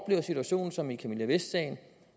en situation som i camilla vest sagen